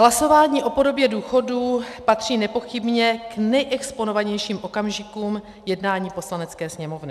Hlasování o podobě důchodů patří nepochybně k nejexponovanějším okamžikům jednání Poslanecké sněmovny.